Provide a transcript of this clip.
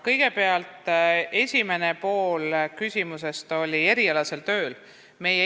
Kõigepealt, esimene pool küsimusest oli erialase töö kohta.